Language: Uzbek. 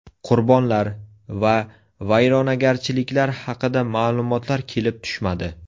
Qurbonlar va vayronagarchiliklar haqida ma’lumotlar kelib tushmadi.